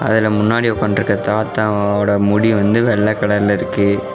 அதுல முன்னாடி உக்கான்ட்ருக்க தாத்தாவோட முடி வந்து வெள்ள கலர்ல இருக்கு.